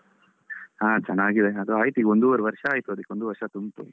ಹಾ ಚೆನ್ನಾಗಿದೆ. ಅದು ಆಯ್ತು ಈಗ ಒಂದುವರೆ ವರ್ಷ ಆಯ್ತು ಅದಕ್ಕೆ ಒಂದು ವರ್ಷ ತುಂಬ್ತು.